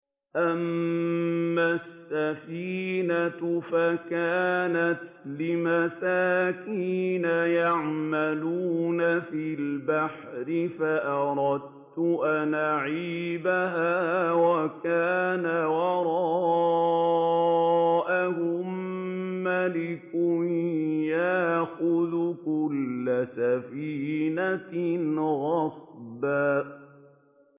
أَمَّا السَّفِينَةُ فَكَانَتْ لِمَسَاكِينَ يَعْمَلُونَ فِي الْبَحْرِ فَأَرَدتُّ أَنْ أَعِيبَهَا وَكَانَ وَرَاءَهُم مَّلِكٌ يَأْخُذُ كُلَّ سَفِينَةٍ غَصْبًا